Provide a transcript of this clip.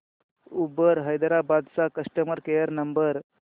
Uber Hyderabad चा customer care number